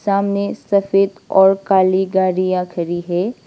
सामने सफेद और काली गाड़ियां खड़ी है।